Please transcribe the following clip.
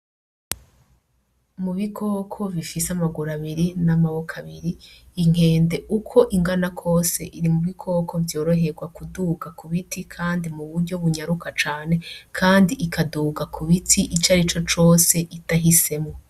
Mu bikoko bifise amaguru abiri n'amaboko abiri inkende uko ingana kose iri mu bikoko vyoroherwa kuduga ku biti kandi mu buryo bunyaruka cane kandi ikaduga ku biti icari cocose idahisemwo.